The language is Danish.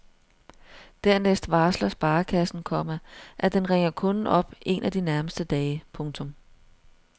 Dernæst varsler sparekassen, komma at den ringer kunden op en af de nærmeste dage. punktum